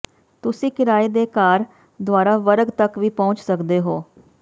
ਤੁਸੀਂ ਕਿਰਾਏ ਦੇ ਕਾਰ ਦੁਆਰਾ ਵਰਗ ਤੱਕ ਵੀ ਪਹੁੰਚ ਸਕਦੇ ਹੋ